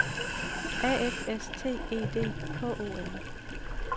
A F S T E D K O M